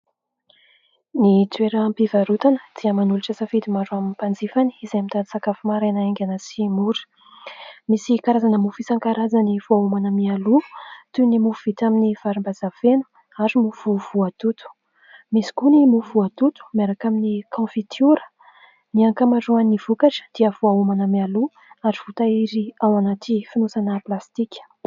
Ny toeram-pivarotana dia manolotra safidy maro ho an'ny mpanjifany izay mitady sakafo maraina haingana sy mora. Misy karazana mofo isan-karazany voaomana mialoha toy ny mofo vita amin'ny varimbazaha feno, ary mofo voatoto. Misy koa ny mofo voatoto miaraka amin'ny kaonfitira. Ny ankamaroan'ny vokatra dia voaomana mialoha ary voatahiry ao anaty fonosana plastika.